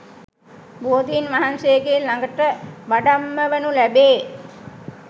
බෝධීන් වහන්සේගේ ළඟට වඩම්මවනු ලැබේ